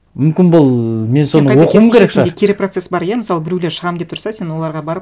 мүмкін бұл мен соны оқуым керек шығар кері процесс бар иә мысалы біреулер шығамын деп тұрса сен оларға барып